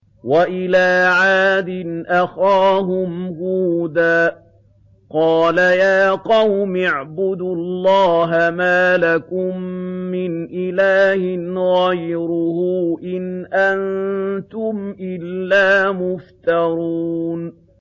وَإِلَىٰ عَادٍ أَخَاهُمْ هُودًا ۚ قَالَ يَا قَوْمِ اعْبُدُوا اللَّهَ مَا لَكُم مِّنْ إِلَٰهٍ غَيْرُهُ ۖ إِنْ أَنتُمْ إِلَّا مُفْتَرُونَ